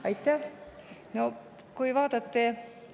Aitäh!